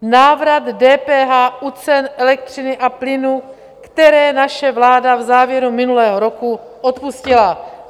Návrat DPH u cen elektřiny a plynu, kterou naše vláda v závěru minulého roku odpustila.